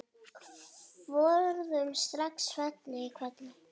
Forðum saxað fang í hvelli.